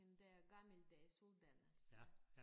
Men det er gammeldags uddannelse